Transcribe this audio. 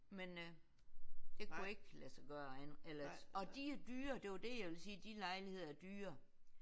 Men øh det kunne ikke lade sig gøre andet eller og de er jo dyre det var det jeg ville sige de lejligheder er dyre